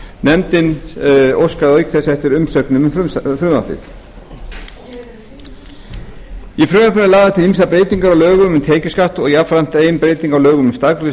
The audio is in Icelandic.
nefndin óskaði auk þess eftir umsögnum um frumvarpið í frumvarpinu eru lagðar til ýmsar breytingar á lögum um tekjuskatt og jafnframt ein breyting á lögum um staðgreiðslu skatts